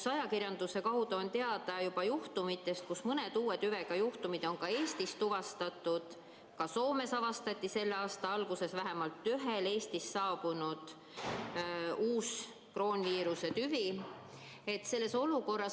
Ajakirjanduse kaudu on teada, et mõned uue tüvega juhtumid on Eestis tuvastatud, ka Soomes avastati selle aasta alguses vähemalt ühel Eestist saabunul uus kroonviiruse tüvi.